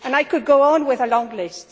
I could go on with a long list.